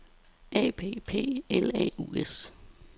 A P P L A U S